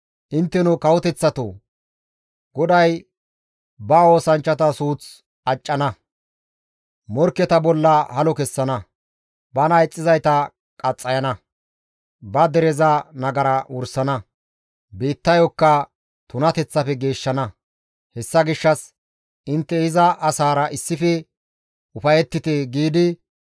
«Intteno kawoteththatoo! GODAY ba oosanchchata suuth accana; morkketa bolla halo kessana; bana ixxizayta qaxxayana; ba dereza nagara wursana; biittayokka tunateththafe geeshshana; hessa gishshas intte iza asaara issife ufayettite» giidi,